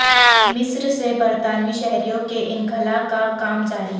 مصر سے برطانوی شہریوں کے انخلاء کا کام جاری